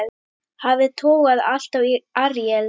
Hafið togaði alltaf í Aríel.